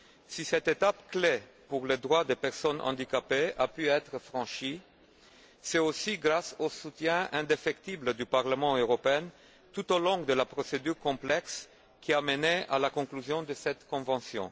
Si cette étape clé pour les droits des personnes handicapées a pu être franchie, c'est aussi grâce au soutien indéfectible du Parlement européen tout au long de la procédure complexe qui a mené à la conclusion de cette convention.